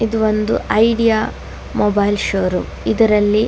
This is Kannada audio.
ಇದು ಒಂದು ಐಡಿಯಾ ಮೊಬೈಲ್ ಶೋರೂಮ್ . ಇದರಲ್ಲಿ --